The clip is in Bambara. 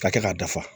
Ka kɛ k'a dafa